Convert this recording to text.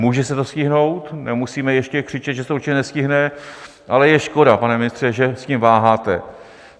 Může se to stihnout, nemusíme ještě křičet, že se to určitě nestihne, ale je škoda, pane ministře, že s tím váháte.